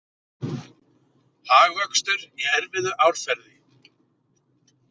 Hagvöxtur í erfiðu árferði